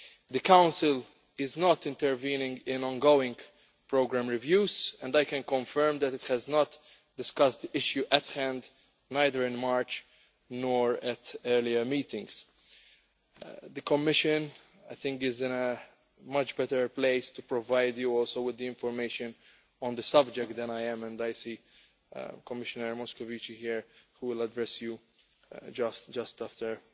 The Council is not intervening in ongoing programme reviews and I can confirm that it has not discussed the issue at hand either in March or at earlier meetings. The Commission is also, I think, much better placed to provide you with the information on the subject than I am, and I see that Commissioner Moscovici is here and he will address you just after